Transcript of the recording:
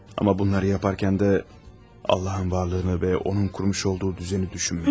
Amma bunları edərkən də Allahın varlığını və onun qurmuş olduğu nizamı düşünmədim.